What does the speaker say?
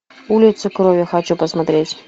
улица крови хочу посмотреть